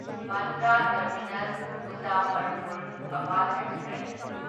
Bandra terminus Muzaffarpur Awadh express